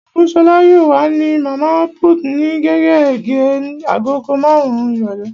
Ògúnṣọlá yóò wà ní Màmá put ní gérégé agogo marun-un ìrọ̀lẹ́